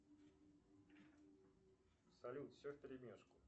салют все в перемешку